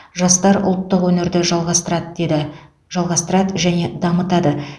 жастар ұлттық өнерді жалғастырады деді жалғастырады және дамытады